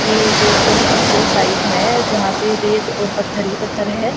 ये कोई construction site है जहां पे रेत और पत्थर ही पत्थर हैं।